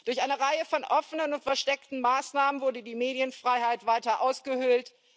Durch eine Reihe von offenen und versteckten Maßnahmen wurde die Medienfreiheit weiter ausgehöhlt.